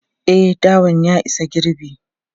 E, dawan ya isa girbi.